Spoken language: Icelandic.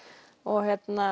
og